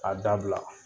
A dabila